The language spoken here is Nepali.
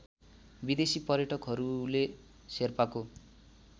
विदेशी पर्यटकहरूले शेर्पाको